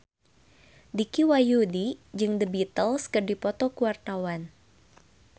Dicky Wahyudi jeung The Beatles keur dipoto ku wartawan